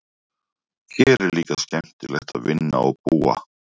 Hér er líka skemmtilegt að vinna og búa.